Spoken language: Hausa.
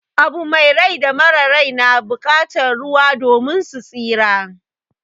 Abu mai rai da mara rai na bukatan ruwa domin su tsira.